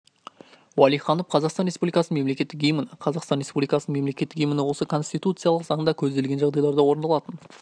уалиханов қазақстан республикасының мемлекеттік гимні қазақстан республикасының мемлекеттік гимні осы конституциялық заңда көзделген жағдайларда орындалатын